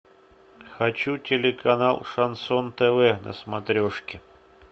хочу телеканал шансон тв на смотрешке